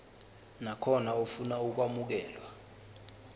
nakhona ofuna ukwamukelwa